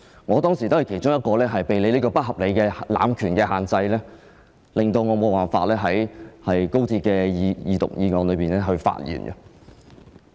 我當時也是其中一個被你這個不合理的濫權安排所限制，導致無法在高鐵的二讀辯論中發言的議員。